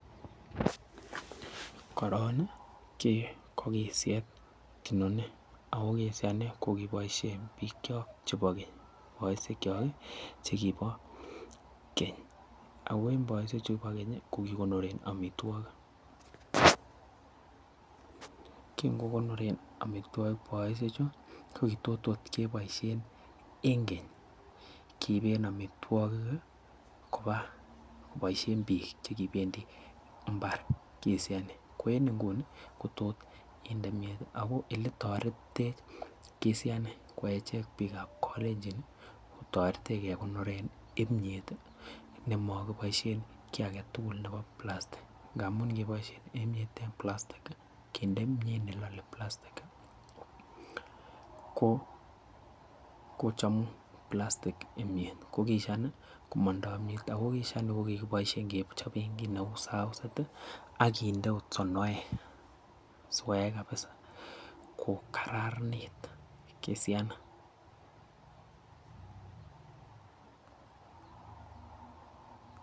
Koron nii kii ko kisyet inoni ako kisyani ko koboishen bik chok chekibo keny boishek chok kii chekibo keny ako en boishek chuu bo kenyi ko kokonoren omitwokik kin kokonoren omitwokik boishek chuu ko kitot ot keboishen en keny, kiiben omitwokik kii koba koboishen bik chekipendii imbar kisheni ko en inguni ko tot inde kimiet ako oletoretitech kisyani ko echek bik ab kolenjin ko toretech kekonoren imiet tii nemokiboishen kii agetukul nebo plastik ngamun ngeboishen kiimiet en plastik kii kinde kimiet nelole palastik ko kochomiet plastic imiet ko kisyet nii komondo imiet ako kisyani ko kikeboishen kechoben kit neu saoset tii ak kinde ot sonoek sikoyai kabisa ko kararanit kisyani.